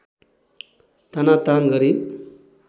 तानातान गरी